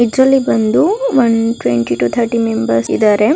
ಇದ್ರಲ್ಲಿ ಬಂದು one twenty two thirty members ಇದರೆ